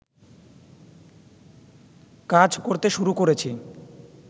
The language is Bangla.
কাজ করতে শুরু করেছি